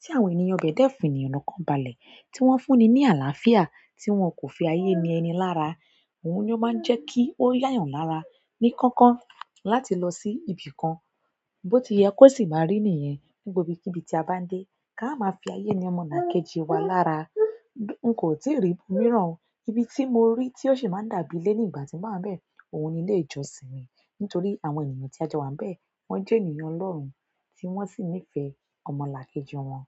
tí àwọn ènìyàn ibẹ̀ dẹ́ fún ènìyàn lọ́kàn balẹ̀, tí wọ́n fún ni ní àlàáfíà, tí wón kò fi ayé ni ẹni lára, oun ni o maa n je ki o ya eyan lára ni koko láti lo si ibìkan. Bó ti yẹ kó sì máa rí nìyẹn, ní gbogbo ibikíbi tí a bá ń dé, ká ma máa fi ayé ni ọmọlàkejì wa lára. N kò tíì rí-- míràn o. Ibi tí mo rí tí ó sì máa ń dàbí ilé ní ìgbà tí mo ba wa ń bẹ, òun ni ilé ìjọsìn mi. Nítorí àwọn ènìyàn tí a jọ wa ń bẹ, wọ́n jẹ́ ènìyàn ọlọ́rùn, tí wọ́n sì nífẹ̀ẹ́ ọmọlàkejì wọn.